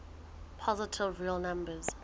positive real numbers